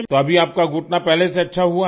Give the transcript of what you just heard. तो अभी आपका घुटना पहले से अच्छा हुआ है